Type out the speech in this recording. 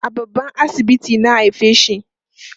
a babban asibiti na haifeshi